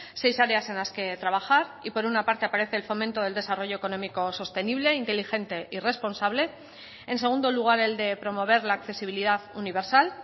seis áreas en las que trabajar y por una parte aparece el fomento del desarrollo económico sostenible inteligente y responsable en segundo lugar el de promover la accesibilidad universal